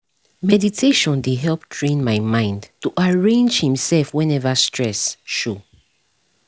meditation dey help train my mind to arrange himself whenever stress show